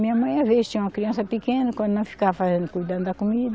Minha mãe às vezes tinha uma criança pequena, quando não ficava fazendo cuidando da comida,